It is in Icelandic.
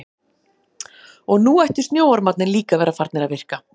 Og nú ættu snjóormarnir líka að vera farnir að virka.